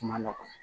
Kuma nɔgɔ